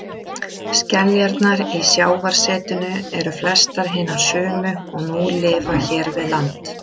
Skeljarnar í sjávarsetinu eru flestar hinar sömu og nú lifa hér við land.